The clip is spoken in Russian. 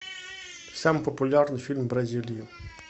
самый популярный фильм в бразилии